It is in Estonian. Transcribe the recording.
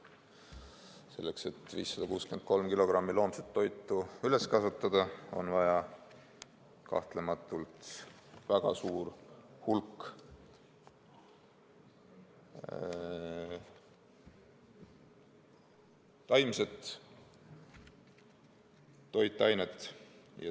Selleks, et saada 563 kilogrammi loomset toitu, on vaja kahtlematult väga suurt hulka taimset toitu.